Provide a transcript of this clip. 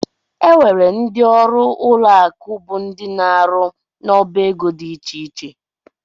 Enwere ndị ọrụ ụlọ akụ bụ ndị ná -aru n'ọbá égo dị iche iche.